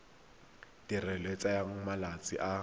tirelo e tsaya malatsi a